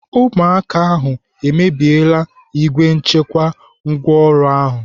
Ụmụaka ahụ emebiela igbe nchekwa ngwaọrụ ahụ.